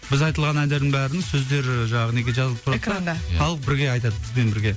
біз айтылған әндердің бәрін сөздері жаңағы неге жазылып тұрады да экранға халық бірге айтады бізбен бірге